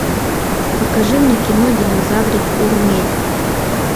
покажи мне кино динозаврик урмель